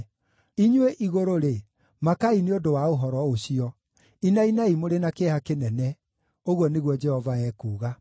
Inyuĩ igũrũ-rĩ, makaai nĩ ũndũ wa ũhoro ũcio, inainai mũrĩ na kĩeha kĩnene,” ũguo nĩguo Jehova ekuuga.